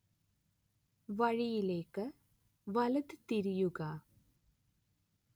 വഴിയിലേക്ക് വലത് തിരിയുക